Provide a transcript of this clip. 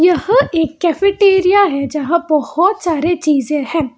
यह एक कैफेटेरिया है जहां बहुत सारी चीजें हैं।